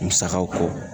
Musakaw kɔ